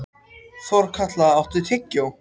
Þorkatla, áttu tyggjó?